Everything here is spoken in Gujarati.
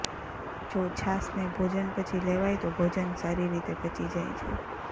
જો છાશને ભોજન પછી લેવાય તો ભોજન સારી રીતે પચી જાય છે